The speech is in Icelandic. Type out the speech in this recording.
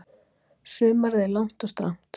Sumarið er langt og strangt.